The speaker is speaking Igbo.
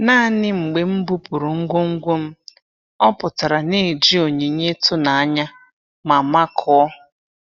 Naanị mgbe m bupụrụ ngwongwo m, ọ pụtara na-eji onyinye ịtụnanya ma makụọ.